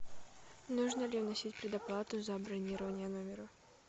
нужно ли вносить предоплату за бронирование номера